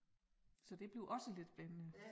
Så det bliver også lidt spændende